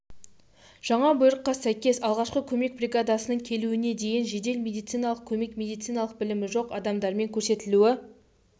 жаңа бұйрыққа сәйкес алғашқы көмек бригадасының келуіне дейін жедел медициналық көмек медициналық білімі жоқ адамдармен көрсетілуі